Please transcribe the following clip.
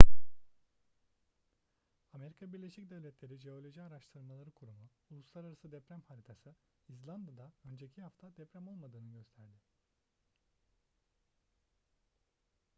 amerika birleşik devletleri jeoloji araştırmaları kurumu uluslararası deprem haritası i̇zlanda'da önceki hafta deprem olmadığını gösterdi